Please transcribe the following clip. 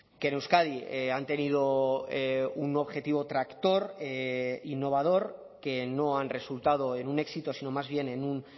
que en euskadi han tenido un objetivo tractor innovador que no han resultado en un éxito sino más bien en un